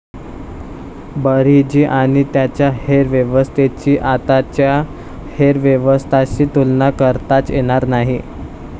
बर्हिजी आणी त्यांच्या हेर व्यवस्थेची आताच्या हेरव्यवस्थांशी तुलना करताच येणार नाही.